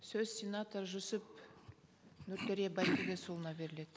сөз сенатор жүсіп нұртөре байтілесұлына беріледі